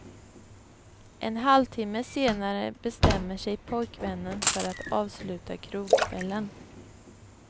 En halvtimme senare bestämmer sig pojkvännen för att avsluta krogkvällen.